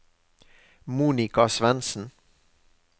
Monica Svensen